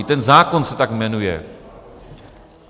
I ten zákon se tak jmenuje.